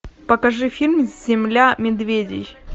покажи фильм земля медведей